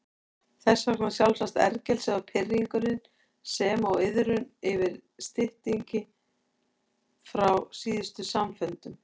Þess vegna sjálfsagt ergelsið og pirringurinn sem og iðrun yfir styttingi frá síðustu samfundum.